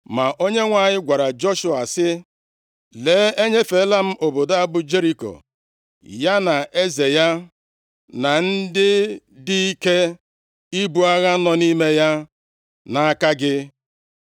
Ma Onyenwe anyị gwara Joshua sị, “Lee, enyefela m obodo a bụ Jeriko, ya na eze ya, na ndị dị ike ibu agha nọ nʼime ya, nʼaka gị.